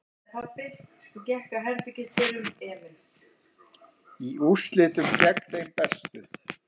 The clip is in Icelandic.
Í úrslitum gegn þeim bestu